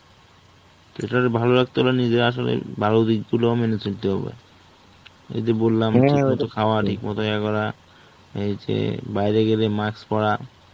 তো এটারে ভালো লাগতে গলে নিজেরা আসলে ভালো দিকগুলোও মেনে চলতে হবে. এই যে বললাম খাওয়া ঠিকমত ইয়ে করা. এই যে বাইরে গেলে mask পরা